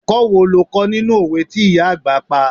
Ẹ̀kọ́ wo lo kó nínú òwe tí ìyá àgbà pa?